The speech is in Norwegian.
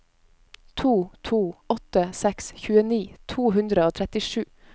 to to åtte seks tjueni to hundre og trettisju